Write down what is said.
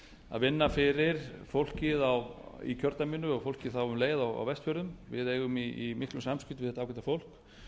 að vinna fyrir fólkið í kjördæminu og fólkið þá um leið á vestfjörðum við eigum í miklu samskiptum við þetta ágæta fólk